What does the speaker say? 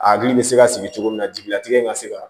A hakili bɛ se ka sigi cogo min na jigilatigɛ in ka se ka